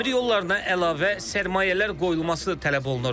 Dəmir yollarında əlavə sərmayələr qoyulması tələb olunur.